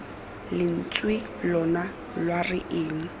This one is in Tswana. lentswe lona lwa re eng